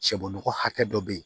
Cɛbɔ hakɛ dɔ bɛ yen